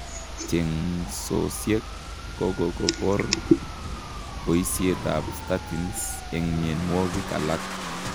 Chengsosiek kokokoboor boisiet ab statins eng mionwogik alak